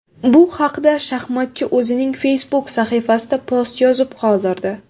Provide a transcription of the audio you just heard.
Bu haqda shaxmatchi o‘zining Facebook sahifasida post yozib qoldirdi .